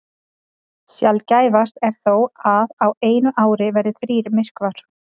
Sjaldgæfast er þó að á einu ári verði þrír myrkvar.